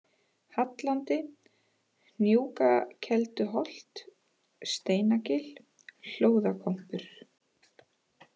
Hallandi, Hnúkakelduholt, Steinagil, Hlóðakompur